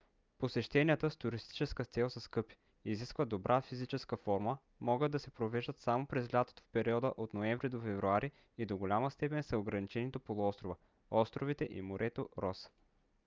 посещенията с туристическа цел са скъпи изискват добра физическа форма могат да се провеждат само през лятото в периода от ноември до февруари и до голяма степен са ограничени до полуострова островите и морето рос